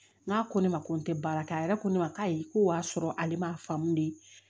N k'a ko ne ma ko n tɛ baara kɛ a yɛrɛ ko ne ma k'a ye ko wa sɔrɔ ale man faamu de